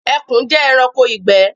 Ẹkùn jẹ́ ẹranko ìgbẹ́